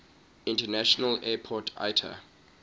international airport iata